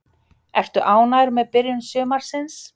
Ertu ánægður með byrjun sumarsins?